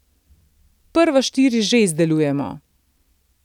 Prva štiri že izdelujemo.